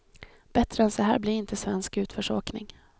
Bättre än så här blir inte svensk utförsåkning.